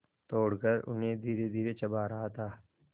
तोड़कर उन्हें धीरेधीरे चबा रहा था